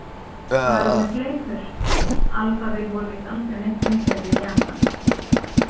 Farið með fleipur Alphaville voru víst aldrei neitt vinsælir í Japan.